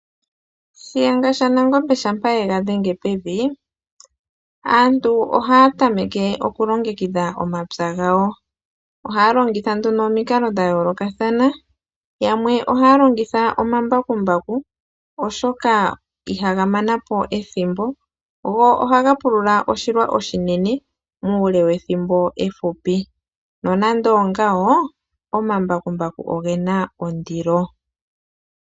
Shiyenga shaNangombe shampa ye ga dhenge pevi, aantu ohaya tameke okulongekidha omapya gawo. Ohaya longitha nduno omikalo dha yoolokathana mokupulula. Yamwe ohaya longitha omambakumbaku oshoka ihaga mana po ethimbo, go ohaga pulula oshilwa oshinene, muule wethimbo efupi. Nonande ongawo, omambakumbaku oge na ondilo.